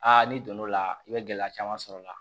n'i donn'o la i bɛ gɛlɛya caman sɔrɔ a la